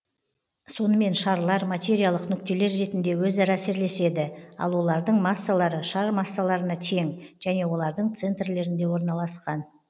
сонымен шарлар материялық нүктелер ретінде өзара әсерлеседі ал олардың массалары шар массаларына тең және олардың центрлерінде орналасқан